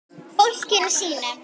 Fólkinu sínu.